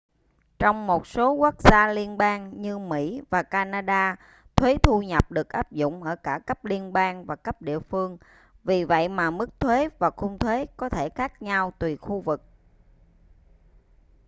trong một số quốc gia liên bang như mỹ và canada thuế thu nhập được áp dụng ở cả cấp liên bang và cấp địa phương vì vậy mà mức thuế và khung thuế có thể khác nhau tùy khu vực